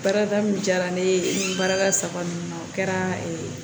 Baarada min diyara ne ye maraka saba ninnu na o kɛra